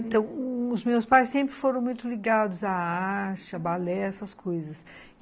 Então, os meus pais sempre foram muito ligados à arte, a balé, essas coisas.